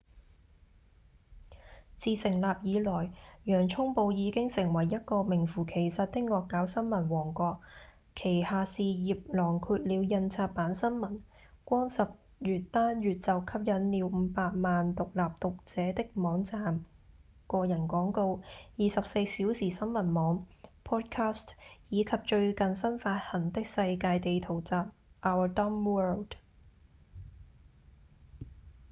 自成立以來洋蔥報已經成為一個名符其實的惡搞新聞王國旗下事業囊括了印刷版新聞、光十月單月就吸引了5百萬獨立讀者的網站、個人廣告、24小時新聞網、podcast、以及最近新發行的世界地圖集《our dumb world》